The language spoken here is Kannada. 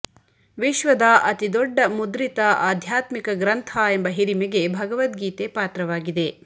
ವಿಶ್ವದ ಅತಿದೊಡ್ಡ ಮುದ್ರಿತ ಆಧ್ಯಾತ್ಮಿಕ ಗ್ರಂಥ ಎಂಬ ಹಿರಿಮೆಗೆ ಭಗವದ್ಗೀತೆ ಪಾತ್ರವಾಗಿದೆ